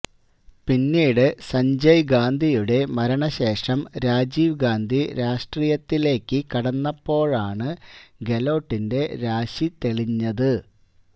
പിന്നീട് സഞ്ജയ് ഗാന്ധിയുടെ മരണശേഷം രാജീവ് ഗാന്ധി രാഷ്ട്രീയത്തിലേക്ക് കടന്നപ്പോഴാണ് ഗെലോട്ടിന്റെ രാശി തെളിഞ്ഞത്